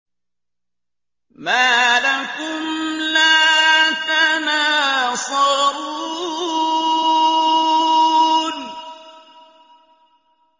مَا لَكُمْ لَا تَنَاصَرُونَ